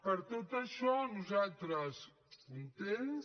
per tot això nosaltres contents